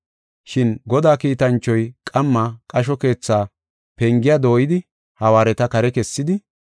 Shin Godaa kiitanchoy qamma qasho keetha pengiya dooyidi hawaareta kare kessidi,